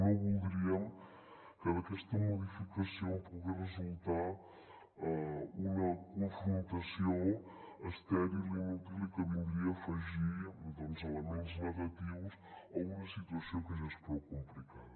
no voldríem que d’aquesta modificació en pogués resultar una confrontació estèril inútil i que vindria a afegir doncs elements negatius a una situació que ja és prou complicada